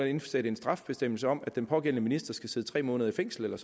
indsætte en straffebestemmelse om at den pågældende minister skal sidde tre måneder i fængsel eller